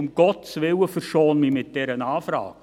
«Um Gottes Willen, verschone mich mit dieser Anfrage!